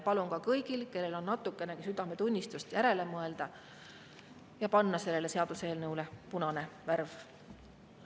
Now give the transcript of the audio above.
Palun kõigil, kellel on natukenegi südametunnistust, järele mõelda ja vajutada selle seaduseelnõu punast värvi.